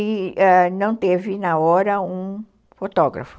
E ãh não teve na hora um fotógrafo.